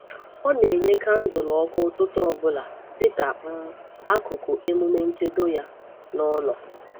Ọ na-enyé kańdụ̀lụ ọkụ ụtụtụ ọ bụla dị ka um akụkụ emume nchedo ya n’ụlọ.